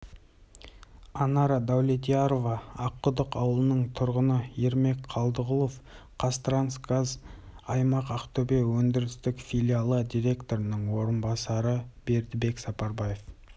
анара дәулетьярова аққұдық ауылының тұрғыны ермек қалдығұлов қазтрансгаз аймақ ақтөбе өндірістік филиалы директорының орынбасары бердібек сапарбаев